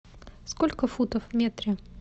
сколько футов в метре